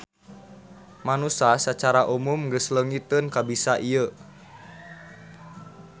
Manusa sacara umum geus leungiteun kabisa ieu.